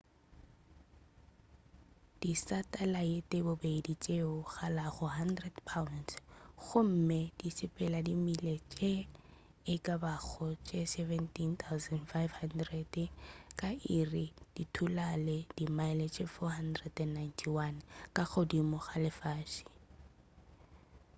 disatalaete bobedi tšeo di kalago 1000 pounds gomme di sepela di mile tše e ka bago tše 17,500 ka iri di thulale di mile tše 491 ka godimo ga lefase